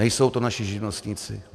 Nejsou to naši živnostníci.